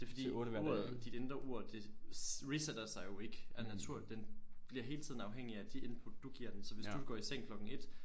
Det fordi uret dit indre ur det reseter sig jo ikke af natur den bliver hele tiden afhængig af de input du giver den så hvis du går i seng klokken 1